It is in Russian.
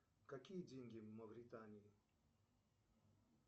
какие деньги в мавритании